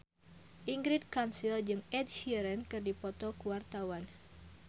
Ingrid Kansil jeung Ed Sheeran keur dipoto ku wartawan